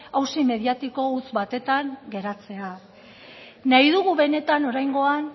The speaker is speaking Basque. auzi mediatiko huts batean geratzea nahi dugu benetan oraingoan